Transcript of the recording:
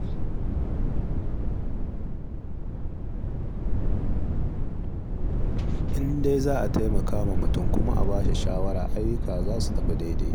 In dai za a taimakawa mutum, kuma a ba shi shawara, ayyuka za su tafi daidai.